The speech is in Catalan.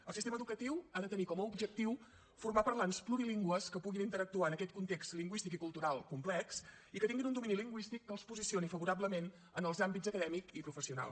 el sistema educatiu ha de tenir com a objectiu formar parlants plurilingües que puguin interactuar en aquest context lingüístic i cultural complex i que tinguin un domini lingüístic que els posicioni favorablement en els àmbits acadèmic i professional